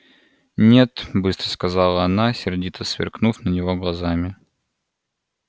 нет быстро сказала она сердито сверкнув на него глазами